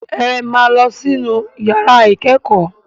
Ẹ máa lọ inú ìyàrá ìkẹ́kọ̀ọ́!